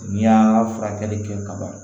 N'i y'a furakɛli kɛ kaban